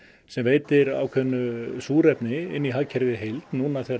sem veitir ákveðnu súrefni inn í hagkerfið í heild núna þegar